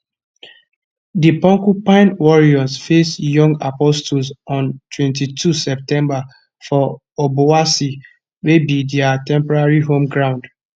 di porcupine warriors face young apostles on 22 september for obuasi wey go be dia temporary home ground